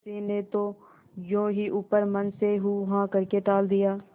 किसी ने तो यों ही ऊपरी मन से हूँहाँ करके टाल दिया